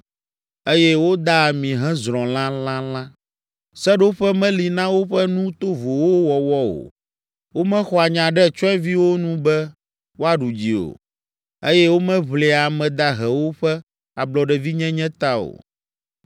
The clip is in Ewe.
eye woda ami hezrɔ̃ lãlãlã. Seɖoƒe meli na woƒe nu tovowo wɔwɔ o, womexɔa nya ɖe tsyɔ̃eviwo nu be woaɖu dzi o, eye womeʋlia ame dahewo ƒe ablɔɖevinyenye ta o.”